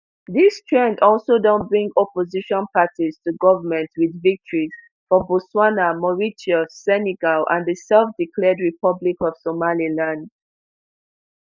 dis trend also don bring opposition parties to goment wit victories for botswana mauritius senegal and the selfdeclared republic of somaliland